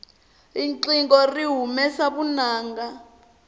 riqingho ri humesa vunanga